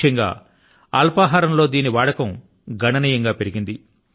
ముఖ్యం గా అల్పాహారం లో దీని వాడకం గణనీయం గా పెరిగింది